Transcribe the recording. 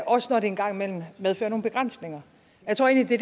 også når det en gang imellem medfører nogle begrænsninger jeg tror egentlig